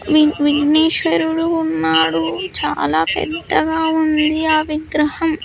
We వీ విజ్ఞేశ్వరుడు ఉన్నాడు చాలా పెద్దగా ఉంది ఆ విగ్రహం.